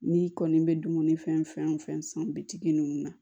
N'i kɔni bɛ dumuni fɛn fɛn san bitigi ninnu na